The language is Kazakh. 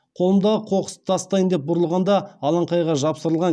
қолымдағы қоқысты тастайын деп бұрылғанда алаңқайға жапсырылған